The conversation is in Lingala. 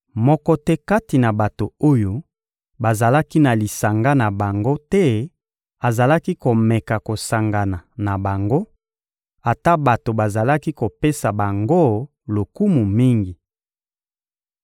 Moko te kati na bato oyo bazalaki na lisanga na bango te azalaki komeka kosangana na bango, ata bato bazalaki kopesa bango lokumu mingi.